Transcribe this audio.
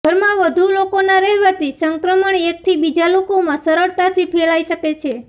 ઘરમાં વધુ લોકોના રહેવાથી સંક્રમણ એકથી બીજા લોકોમાં સરળતાથી ફેલાઇ શકે છે